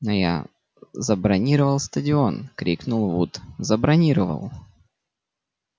но я забронировал стадион крикнул вуд забронировал